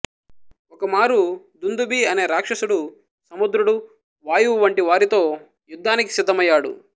ఒకమారు దుందుభి అనే రాక్షసుడు సముద్రుడు వాయువు వంటి వారితో యుద్ధానికి సిద్ధమయ్యాడు